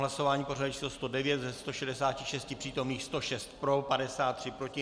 Hlasování pořadové číslo 109: ze 166 přítomných 106 pro, 56 proti.